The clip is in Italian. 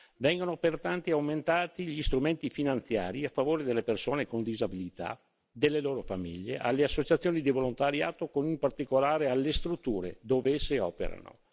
Vanno pertanto aumentati gli strumenti finanziari a favore delle persone con disabilità, delle loro famiglie, delle associazioni di volontariato, in particolare delle strutture dove esse operano.